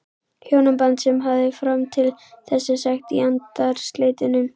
Hjónaband sem hann hafði fram til þessa sagt í andarslitrunum.